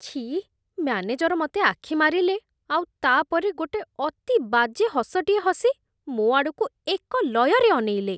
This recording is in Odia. ଛି, ମ୍ୟାନେଜର ମତେ ଆଖିମାରିଲେ, ଆଉ ତା'ପରେ ଗୋଟେ ଅତି ବାଜେ ହସଟିଏ ହସି ମୋ' ଆଡ଼କୁ ଏକଲୟରେ ଅନେଇଲେ ।